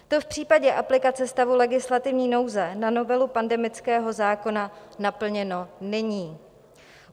To v případě aplikace stavu legislativní nouze na novelu pandemického zákona naplněno není.